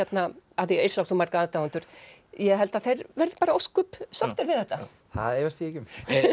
af því Yrsa á svo marga aðdáendur ég held að þeir verði bara ósköp sáttir við þetta það efast ég ekki um